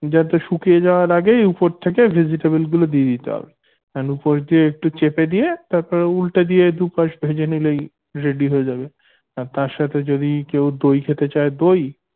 যাতে শুকিয়ে যাওয়ার আগেই উপর থেকে vegetable গুলো দিয়ে দিতে হবে বা উপর থেকে একটু চেপে দিয়ে তারপর উল্টা দিয়ে দুপাশ ভেজে নিলেই ready হয়ে যাবে আর তার সাথে যদি কেউ দই খেতে চায় দই